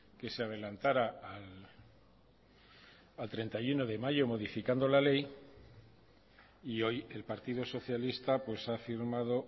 que se adelantara al treinta y uno de mayo modificando la ley y hoy el partido socialista ha firmado